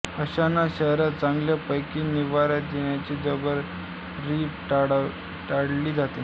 अशांना शहरात चांगल्यापैकी निवारा देण्याची जबाबदारी टाळली जाते